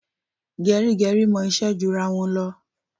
Gẹrígẹrí mọ iṣẹ́ ju ara wọn lọ.